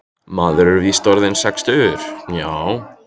Maður er víst orðinn sextugur, já.